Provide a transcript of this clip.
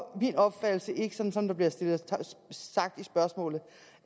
min opfattelse ikke sådan som der bliver skrevet i spørgsmålet